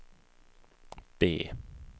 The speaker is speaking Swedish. B